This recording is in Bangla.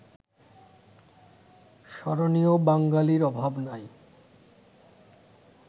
স্মরণীয় বাঙ্গালির অভাব নাই